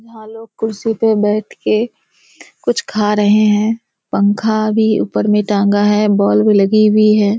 भा लोग कुर्सी पे बैठ के कुछ खा रहे हैं पंख भी ऊपर मे टांगा है बॉल्ब भी लगी हुई है।